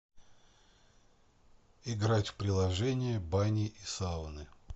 играть в приложение бани и сауны